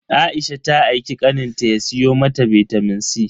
Aisha ta aiki kaninta ya siyo mata bitamin C.